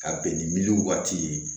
Ka bɛn ni miliyɔn waati ye